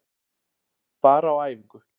Bara á æfingu.